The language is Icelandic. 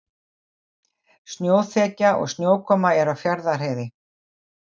Snjóþekja og snjókoma er á Fjarðarheiði